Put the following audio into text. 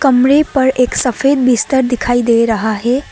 कमरे पर एक सफेद बिस्तर दिखाई दे रहा है।